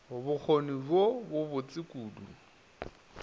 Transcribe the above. bokgoni bjo bo botse kudu